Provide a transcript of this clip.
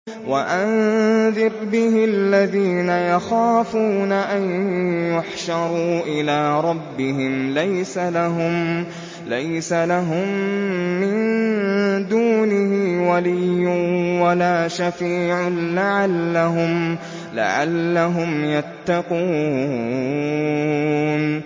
وَأَنذِرْ بِهِ الَّذِينَ يَخَافُونَ أَن يُحْشَرُوا إِلَىٰ رَبِّهِمْ ۙ لَيْسَ لَهُم مِّن دُونِهِ وَلِيٌّ وَلَا شَفِيعٌ لَّعَلَّهُمْ يَتَّقُونَ